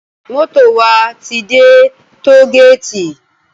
Moto wá ti dè tógéti